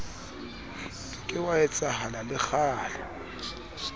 ke wa etsahala le kgale